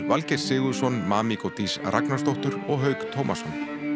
Valgeir Sigurðsson Dís Ragnarsdóttur og Hauk Tómasson